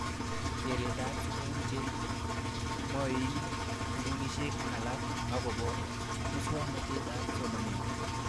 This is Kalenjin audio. Keret ab sukul che mwaini sukulishek alak akopo muswognatet ab somanet